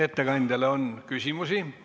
Ettekandjale on küsimusi.